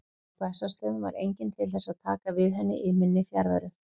Á Bessastöðum var enginn til þess að taka við henni í minni fjarveru.